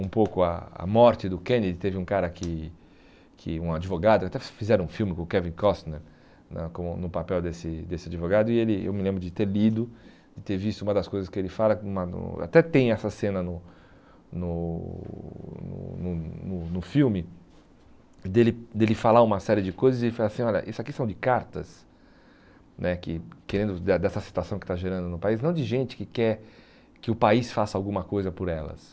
um pouco a a morte do Kennedy, teve um cara que que um advogado, até fizeram um filme com o Kevin Costner na como no papel desse desse advogado e ele eu me lembro de ter lido e ter visto uma das coisas que ele fala, até tem essa cena no no no no no filme dele dele falar uma série de coisas e ele fala assim, olha, isso aqui são de cartas né que querendo de dessa situação que está gerando no país, não de gente que quer que o país faça alguma coisa por elas